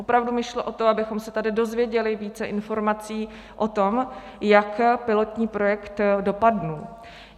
Opravdu mi šlo o to, abychom se tady dozvěděli více informací o tom, jak pilotní projekt dopadl.